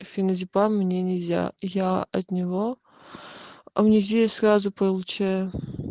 феназепам мне нельзя я от него амнезию сразу получаю